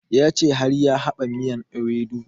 Ya ce har ya dafa miyan ewedu